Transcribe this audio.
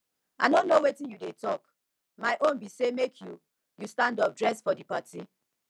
i no know wetin you dey talk my own be say make you you stand up dress for the party